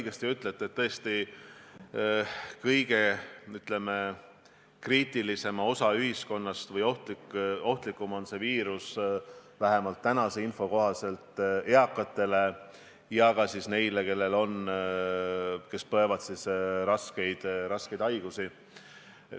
Jah, te väga õigesti ütlete, kõige ohtlikum on see viirus – vähemalt senise info kohaselt – eakatele ja ka neile, kes põevad raskeid haigusi.